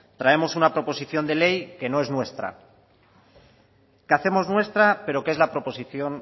traemos una proposición de ley que no es nuestra que hacemos nuestra pero es la proposición